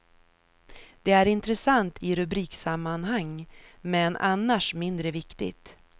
Det är intressant i rubriksammanhang, men annars mindre viktigt.